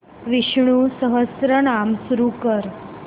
विष्णु सहस्त्रनाम सुरू कर